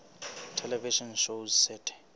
television shows set